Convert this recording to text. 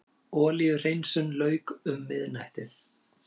Olíuhreinsun lauk um miðnættið